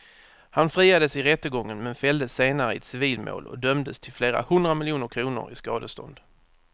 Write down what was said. Han friades i rättegången men fälldes senare i ett civilmål och dömdes till flera hundra miljoner kronor i skadestånd.